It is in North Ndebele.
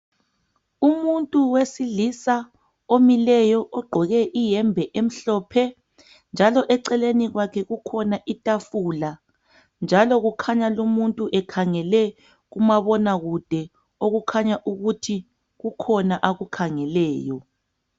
Umuntu wesilisa omileyo egqoke ihembe emhlophe. Njalo eceleni kwakhe kukhona ithafula . Njalo kukhanya lomubhu ekhangele kumabona kude okukhanya ukuthi kukhona akukhangeleyo.